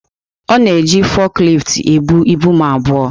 Ọ na-eji foklift ebu ibu m abụọ.